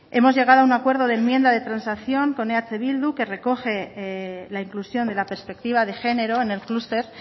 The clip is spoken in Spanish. hemos llegado a un acuerdo de enmienda de transacción con eh bildu que recoge la inclusión de la perspectiva de género en el clúster